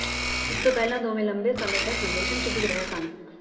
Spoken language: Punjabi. ਇਸ ਤੋਂ ਪਹਿਲਾਂ ਦੋਨੋਂ ਲੰਬੇ ਸਮੇਂ ਤੱਕ ਰਿਲੇਸ਼ਨਸ਼ਿਪ ਵਿੱਚ ਰਹੇ ਸਨ